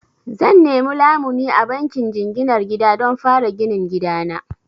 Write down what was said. Zan nemi lamuni a bankin jinginar gida don fara ginin gida na.